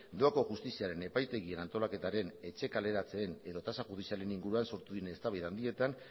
doako justiziaren epaitegien antolaketaren etxe kaleratzeen edo tasa judizialen inguruan sortu diren eztabaida handietan